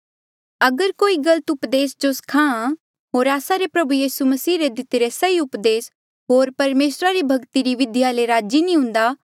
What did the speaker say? अगर कोई गलत उपदेसा जो सखा होर आस्सा रे प्रभु यीसू मसीह रे दितिरे सही उपदेस होर परमेसरा री भक्ति री बिधिया ले राजी नी हुंदा